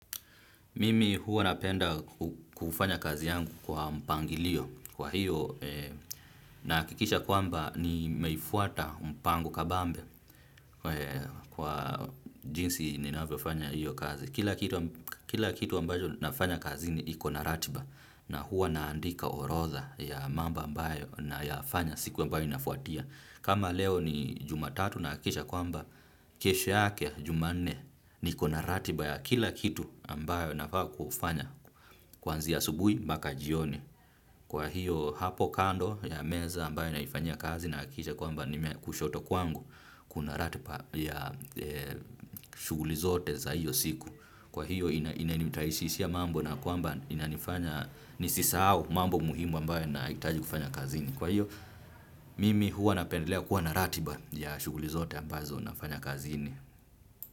Mimi huwa napenda kufanya kazi yangu kwa mpangilio kwa hiyo nahakikisha kwamba nimeifuata mpango kabambe kwa jinsi ninavyofanya hiyo kazi, kila kitu. Kila kitu ambacho ninafanya kazini iko na ratiba na huwa naandika orodha ya mambo ambayo nayafanya siku ambayo inafuatia. Kama leo ni jumatatu nahakikisha kwamba kesho yake jumanne niko na ratiba ya kila kitu ambayo nafaa kufanya kwanzia asubuhi mpaka jioni. Kwa hiyo hapo kando ya meza ambayo naifanyia kazi nahakikisha kwamba nime, kushoto kwangu kuna ratiba ya shughuli zote za hiyo siku. Kwa hiyo inanirahisishia mambo na kwamba inanifanya nisisahau mambo muhimu ambaye nahitaji kufanya kazini. Kwa hiyo mimi huwa napendelea kuwa na ratiba ya shughuli zote ambazo nafanya kazini.